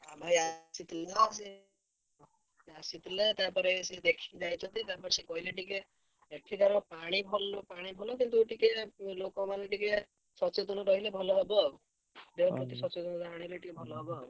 ଭାଇ ଆସିଥିଲ ସେ ଆସିଥିଲା ତାପରେ ସେ ଦେଖିକି ଯାଇଛନ୍ତି। ତାପରେ ସେ କହିଲେ ଟିକେ ଏଠିକାର ପାଣି ଭଲ ପାଣି ଭଲ କିନ୍ତୁ ଟିକେ ଲୋକ ମାନେ ଟିକେ ସଚେତନ ରହିଲେ ଭଲ ହବ ଆଉ ସଚେତନ ରହିଲେ ବି ଟିକେ ଭଲ ହବ ଆଉ।